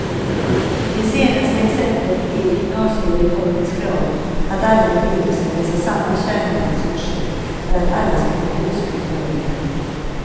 Det senaste exemplet är gymnasiereformens krav att alla elever ska läsa samma kärnämneskurser för att alla ska bli högskolebehöriga.